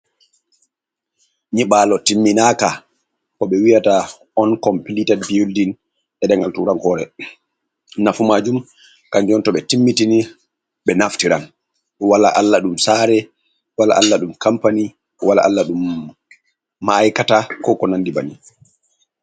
Nyiɓaalo timminaaka, ko ɓe wiyata on kompilitat bildin, e nder tuurankoore. Nafu maajum kanjum to ɓe timmitini ɓe naftiran, wala allah ɗum saare, wala allah ɗum kampani, wala allah ɗum ma’aykata, koo ko nanndi banni.